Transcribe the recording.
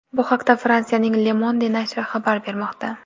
Bu haqda Fransiyaning Le Monde nashri xabar bermoqda .